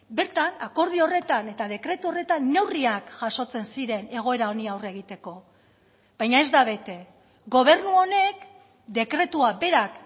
bertan akordio horretan eta dekretu horretan neurriak jasotzen ziren egoera honi aurre egiteko baina ez da bete gobernu honek dekretua berak